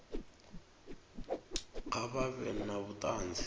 kha vha vhe na vhuṱanzi